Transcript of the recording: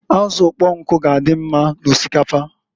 Azụ ụkpọnkụ g'adị mma n'osikapa.